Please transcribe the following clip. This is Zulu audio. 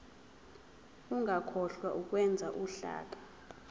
ungakhohlwa ukwenza uhlaka